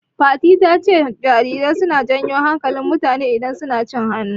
Fatima ta ce jarirai suna janyo hankalin mutane idan sun acin hannu.